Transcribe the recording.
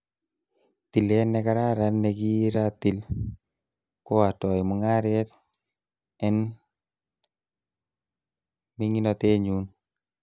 Tilet nekararan nekiratil, ko atoi mungaret en menginotenyun.